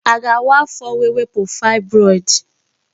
A ga-awa afọ wee wepụ fibroid?